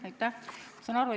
Aitäh!